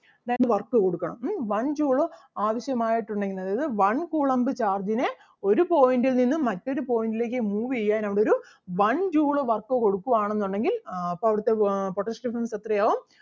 then work കൊടുക്കാം ഉം one joule ആവശ്യമായിട്ട് ഉണ്ടെങ്കില് അതായത് one coulomb charge ന് ഒരു point ൽ നിന്ന് മറ്റൊരു point ലേക്ക് move ചെയ്യാൻ അവിടൊരു one joule work കൊടുക്കുവാണെന്നുണ്ടെങ്കിൽ ആഹ് അപ്പം അവിടുത്തെ ആഹ് potential difference എത്രയാവും?